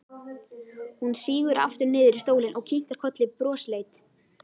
Hún sígur aftur niður í stólinn og kinkar kolli brosleit.